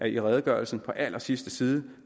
i redegørelsen på allersidste side